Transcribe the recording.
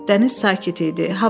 Dəniz sakit idi.